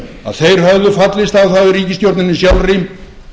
að þeir höfðu fallist á það í ríkisstjórninni sjálfri